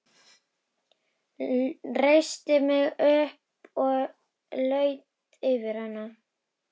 Reisti mig upp og laut yfir hana.